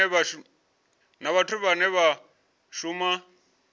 na vhathu vhane vha shuma